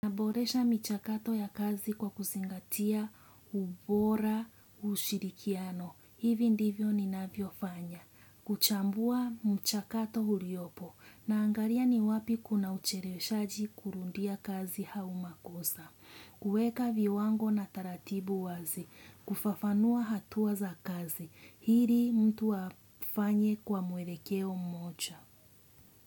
Naboresha michakato ya kazi kwa kuzingatia ubora ushirikiano. Hivi ndivyo ninavyofanya. Kuchambua mchakato uliopo. Naangalia ni wapi kuna ucheleweshaji kurudia kazi au makosa. Kuweka viwango na taratibu wazi. Kufafanua hatua za kazi. Ili mtu afanye kwa mwelekeo mmoja.